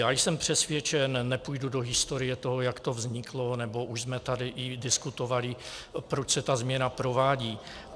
Já jsem přesvědčen - nepůjdu do historie toho, jak to vzniklo, nebo už jsme tady i diskutovali, proč se ta změna provádí.